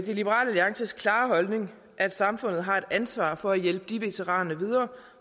liberal alliances klare holdning at samfundet har et ansvar for at hjælpe de veteraner videre